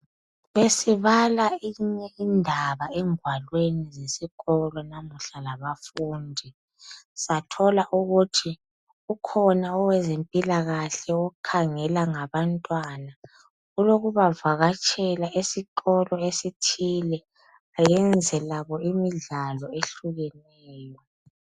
Besibala enye indaba engwalweni zesikolo lamuhla labafundi. Sathola ukuthi ukhona owezempilakahle okhangela ngabantwana. Olokubavakatshela esikolo esithile ayenze labo imidlalo ehlukeneyo.